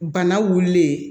Bana wulilen